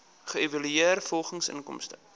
geëvalueer volgens inkomste